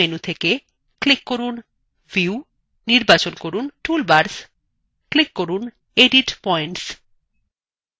main menu থেকে click from view নির্বাচন from toolbars click from